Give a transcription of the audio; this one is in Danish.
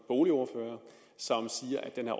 boligordførere som siger at den